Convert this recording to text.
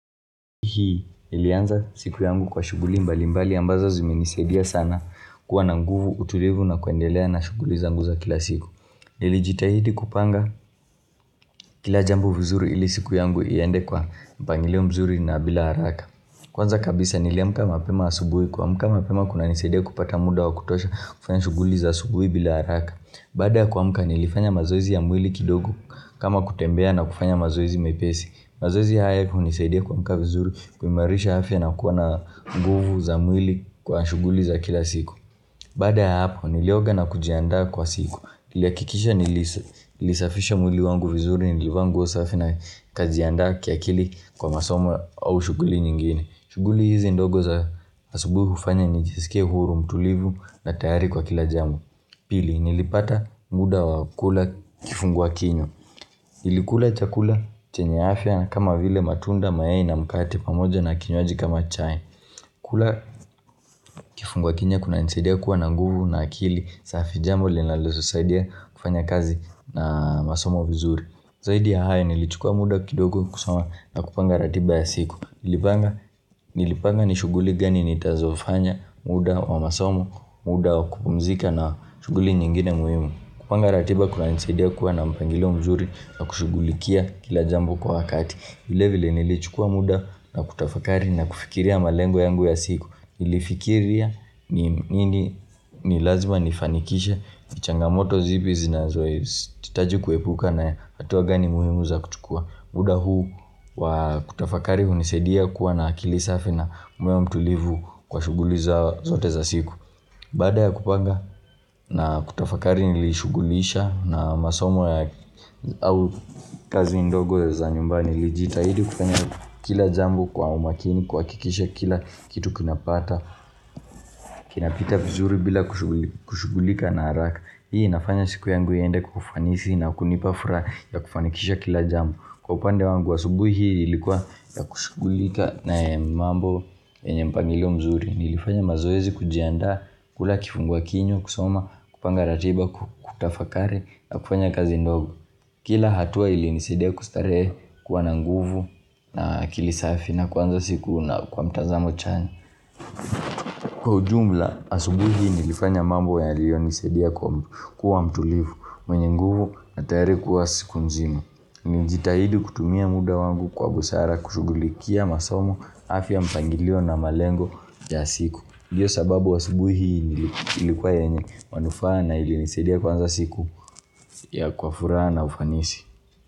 Hii, ilianza siku yangu kwa shughuli mbalimbali ambazo ziminisadia sana kuwa na nguvu, utulivu na kuendelea na shughuli zanguza kila siku. Nili jitahidi kupanga kila jambo vizuri ili siku yangu iende kwa mpangileo mzuri na bila haraka. Kwanza kabisa niliamka mapema asubui, kuamka mapema kuna nisaidia kupata muda wa kutosha kufanya shughuli za asubui bila haraka. Bada kuamka nilifanya mazoezi ya mwili kidogo kama kutembea na kufanya mazoezi mepesi. Mazoezi haya kuhunisaidia kwa mka vizuri kumarisha hafya na kuwa na nguvu za mwili kwa shuguli za kila siku Bada hapo nilioga na kujiandaa kwa siku Niliakikisha nilisafisha mwili wangu vizuri nilivangosa hafya na kajiandaa kia kili kwa masoma au shughuli nyingine shughuli hizi ndogo za asubuhu ufanya nijisike huru mtulivu na tayari kwa kila jamu Pili nilipata muda wa kula kifungwa kinywa Nilikula chakula chenye afya na kama vile matunda mayai na mkate pamoja na kinyoaji kama chai. Kula kifungwa kinywa kuna insadia kuwa na nguvu na akili safi jambo linaleso saidia kufanya kazi na masomo vizuri. Zaidi ya hai nilichukua muda kidogo kusama na kupanga ratiba ya siku. Nilipanga ni shuguli gani nitazofanya muda wa masomo, muda wa kupumzika na shughuli nyingine muhimu. Kupanga ratiba kuna nisaidia kuwa na mpangilo mnzuri na kushugulikia kila jambo kwa wakati. Hile vile nilichukua muda na kutafakari na kufikiria malengo yangu ya siku nilifikiria nilazima nifanikishe nichangamoto zipi zinazwa titaji kuepuka na hatua gani muhimu za kuchua muda huu wa kutafakari unisadia kuwa na kilisafi na moyo mtulivu kwa shuguliza zote za siku Bada ya kupanga na kutafakari nilishughulisha na masomo ya au kazi indogo za nyumbani lijitahidi kupanya kila jambo kwa umakini kwa kikisha kila kitu kinapata Kinapita vizuri bila kushugulika na haraka Hii nafanya siku yangu yende kufanisi na kunipafra ya kufanikisha kila jambu Kwa upande wangu wa subuhi hii ilikuwa ya kushughulika na mambo enye mpangilo mzuri nilifanya mazoezi kujianda kula kifungua kinyo, kusoma, kupanga ratiba, kutafakari, na kufanya kazi ndogo Kila hatua ili nisedia kustare kuwa na nguvu na kilisafi na kwanza siku na kwa mtazamo chani Kwa ujumla, asubuhi nilifanya mambo ya liyo nisedia kuwa mtulivu, mwenye nguvu na tariku wa siku nzima Ninjitahidi kutumia muda wangu kwa busara kushughulikia masomo, afya mpangilio na malengo ya siku Ndiyo sababu wa subuhi ilikuwa enye manufana ili nisadia kwanza siku ya kwa furaha na ufanisi.